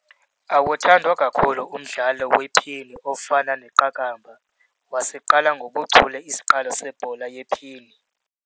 Awuthandwa kakhulu umdlalo wephini ofana neqakamba. wasiqala ngobuchule isiqalo sebhola yephini